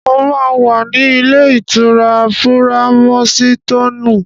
Mo máa wà ní ilé-ìtura Púráímúsitòònù.